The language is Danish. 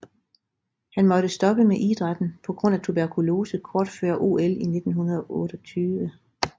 Han måtte stoppe med idrætten på grund af tuberkulose kort før OL 1928